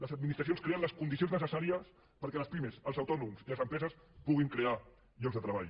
les administracions creen les condicions necessàries perquè les pimes els autònoms i les empreses puguin crear llocs de treball